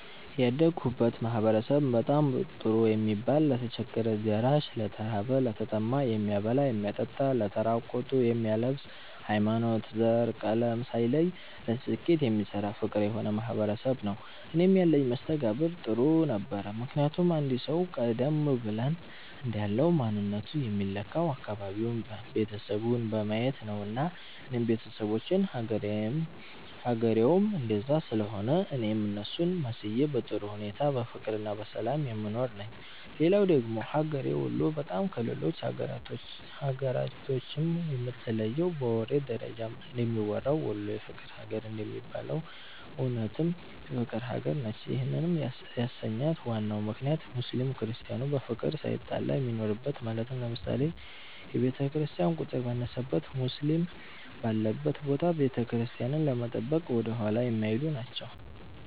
ያደግሁበት ማህበረሰብ በጣም ጥሩ የሚባል ለተቸገረ ደራሽ፣ ለተራበ፣ ለተጠማ የሚያበላ የሚያጠጣ ለተራቆቱ የሚያለብስ፣ ሀይማኖት፣ ዘር፣ ቀለም ሳይለይ ለስኬት የሚሰራ ፍቅር የሆነ ማህበረሰብ ነዉ። እኔም ያለኝ መስተጋብር ጥሩ ነበረ ምክንያቱም አንድ ሰዉ ቀደም ብለን እንዳልነዉ ማንነቱ የሚለካዉ አካባቢዉን፣ ቤተሰቡን በማየት ነዉና እኔም ቤተሰቦቼም ሀገሬዉም እንደዛ ስለሆነ እኔም እነሱን መስዬ በጥሩ ሁኔታ በፍቅርና በሰላም የምኖር ነኝ። ሌላዉ ደግሞ ሀገሬ ወሎ በጣም ከሌሎች ሀገራቶችም የምትለየዉ በወሬ ደረጃም እንደሚወራዉ "ወሎ የፍቅር ሀገር" እንደሚባለዉም እዉነትም የፍቅር ሀገር ነች ይህንም ያሰኛት ዋናው ምክንያት ሙስሊም ክርስቲያኑ በፍቅር ሳይጣላ የሚኖርበት ማለትም ለምሳሌ፦ የክርስቲያን ቁጥር ባነሰበት ሙስሊም ባለበት ቦታ ቤተክርስቲያንን ለመጠበቅ ወደኋላ የማይሉ ናቸዉ።